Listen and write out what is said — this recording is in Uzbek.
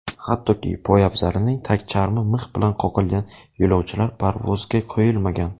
Hattoki, poyabzalining tagcharmi mix bilan qoqilgan yo‘lovchilar parvozga qo‘yilmagan.